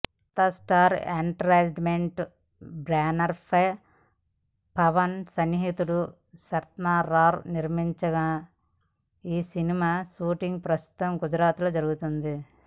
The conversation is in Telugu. నార్త్స్టార్ ఎంటర్టైన్మెంట్ బ్యానర్పై పవన్ సన్నిహితుడు శరత్మరార్ నిర్మిస్తున్న ఈ సినిమా షూటింగ్ ప్రస్తుతం గుజరాత్లో జరుగుతోంది